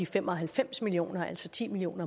fem og halvfems million kr altså ti million